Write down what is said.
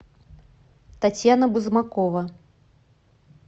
татьяна бузмакова